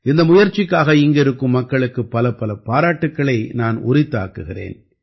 இந்த முயற்சிக்காக இங்கிருக்கும் மக்களுக்குப் பலப்பல பாராட்டுக்களை நான் உரித்தாக்குகிறேன்